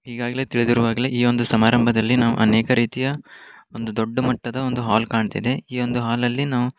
ಈಗಾಗಲೇ ತಿಳಿದಿರು ಹಾಗಲೇ ಈ ಒಂದು ಸಮಾರಂಭದಲ್ಲಿ ನಾವು ಅನೇಕ ರೀತಿಯ ಒಂದು ದೊಡ್ಡ ಮಟ್ಟದ ಒಂದು ಹಾಲ್ ಕಾಣತ್ತಿದೆ ಈ ಒಂದು ಹಾಲಲ್ಲಿ ನಾವು --